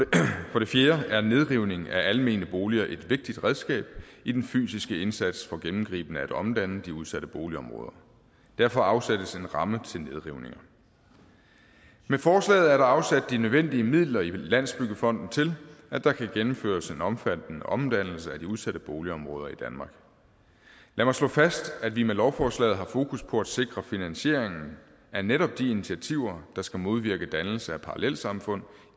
for det fjerde er nedrivning af almene boliger et vigtigt redskab i den fysiske indsats for gennemgribende at omdanne de udsatte boligområder derfor afsættes en ramme til nedrivninger med forslaget er der afsat de nødvendige midler i landsbyggefonden til at der kan gennemføres en omfattende omdannelse af de udsatte boligområder i danmark lad mig slå fast at vi med lovforslaget har fokus på at sikre finansieringen af netop de initiativer der skal modvirke dannelse af parallelsamfund